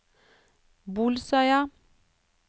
Bolsøya